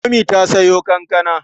Momi ta sayo kankana.